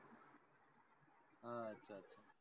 हा आच्छा आच्छा.